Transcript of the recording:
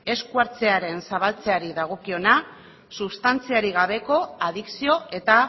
esku hartzearen zabaltzeari dagokiona sustantziarik gabeko adikzio eta